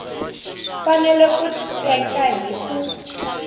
fanele ku teka hi ku